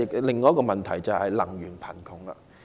另一個問題是能源貧窮。